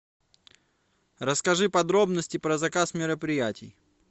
расскажи подробности про заказ мероприятий